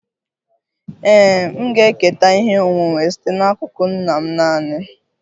Ee, m ga-eketa ihe onwunwe site n'akụkụ nna m naanị